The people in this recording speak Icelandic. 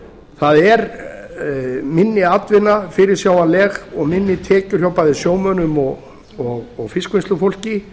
það er minni atvinna fyrirsjáanleg og minni tekjur hjá bæði sjómönnum og fiskvinnslufólki